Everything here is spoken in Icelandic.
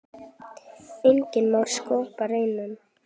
Enginn má sköpum renna.